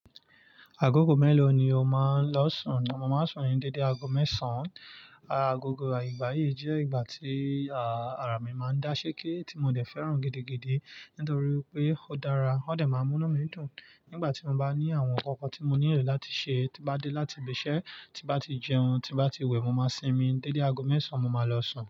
Agogo mélòó ni o máa ń lọ sùn? Mo máa ń sùn ní dédé ago mẹ́sàn. Agogo ìgbà yìí jẹ́ ìgbà tí àrà mi máa ń dáṣẹ́ké, tí mo dẹ̀ fẹ́ràn gidi, gidi. Nítorí pé ó dára, ó dẹ̀ máa ń mú nú mí dùn. Nígbà tí mo bá ní àwọn ǹkan kan tí mo nílò láti ṣe, tí bá dé láti ibi iṣẹ́, tí bá ti jẹun, tí bá ti wẹ̀, mo máa sinmi. Dédé ago mẹ́sàn mo máa lọ sùn.